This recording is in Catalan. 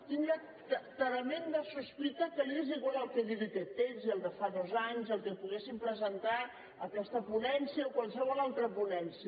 tinc la tremenda sospita que li és igual el que digui aquest text i el de fa dos anys i el que poguéssim presentar aquesta ponència o qualsevol altra ponència